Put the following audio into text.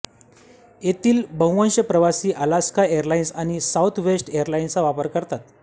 येथील बव्हंश प्रवासी अलास्का एरलाइन्स आणि साउथवेस्ट एरलाइन्सचा वापर करतात